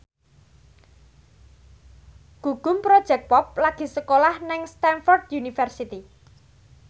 Gugum Project Pop lagi sekolah nang Stamford University